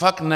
Fakt ne!